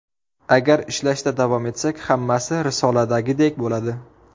Agar ishlashda davom etsak, hammasi risoladagidek bo‘ladi.